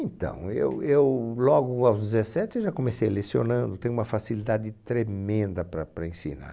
Então, eu, eu, logo aos dezessete eu já comecei lecionando, tenho uma facilidade tremenda para para ensinar.